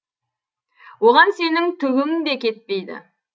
оған сенің түгің де кетпейді